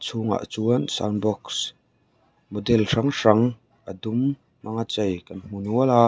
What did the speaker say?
chhung ah chuan sound box model hrang hrang a dum hmanga chei kan hmu nual a.